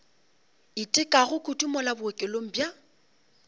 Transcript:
itekago kudu mola bookelong bja